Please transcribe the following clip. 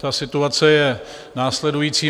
Ta situace je následující.